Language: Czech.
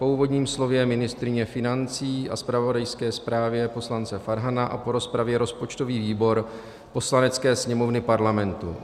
Po úvodním slově ministryně financí a zpravodajské zprávě poslance Farhana a po rozpravě rozpočtový výbor Poslanecké sněmovny Parlamentu